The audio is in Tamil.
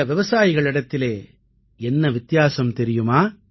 இந்த விவசாயிகளிடத்திலே என்ன வித்தியாசம் தெரியுமா